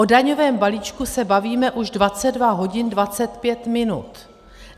O daňovém balíčku se bavíme už 22 hodin 25 minut.